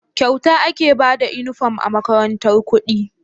Kyauta ake Bada inufom a makarantar kudi